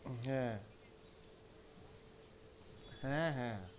হেঁ, হেঁ, হে,